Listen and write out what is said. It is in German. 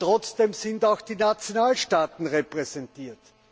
Trotzdem sind auch die Nationalstaaten repräsentiert.